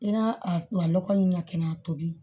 I n'a a lɔgɔ in ɲakɛnɛ tobi